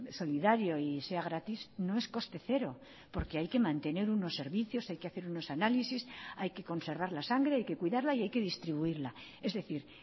solidario y sea gratis no es coste cero porque hay que mantener unos servicios hay que hacer unos análisis hay que conservar la sangre hay que cuidarla y hay que distribuirla es decir